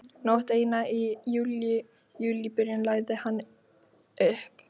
Nótt eina í júlíbyrjun lagði hann upp.